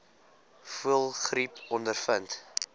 voëlgriep ondervind